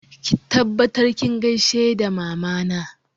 Ki tabbatar kin gaishe da Mamana!